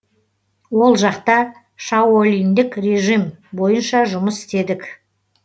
ол жақта шаолиньдік режим бойынша жұмыс істедік